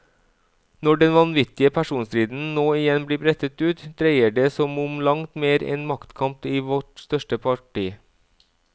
Når den vanvittige personstriden nå igjen blir brettet ut, dreier det som om langt mer enn maktkamp i vårt største parti.